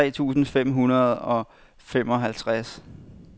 tre tusind fem hundrede og femoghalvtreds